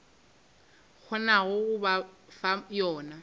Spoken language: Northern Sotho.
kgonago go ba fa yona